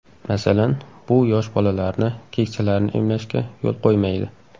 Masalan, bu yosh bolalarni, keksalarni emlashga yo‘l qo‘ymaydi.